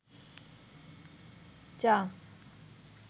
চা